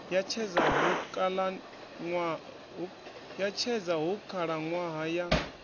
ya tshedza hu khalaṅwaha ya